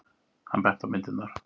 Hann benti á myndirnar.